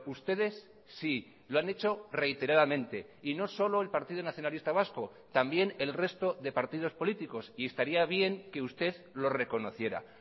ustedes sí lo han hecho reiteradamente y no solo el partido nacionalista vasco también el resto de partidos políticos y estaría bien que usted lo reconociera